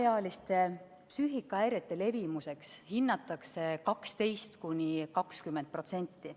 Alaealiste psüühikahäirete levimuseks hinnatakse 12–20%.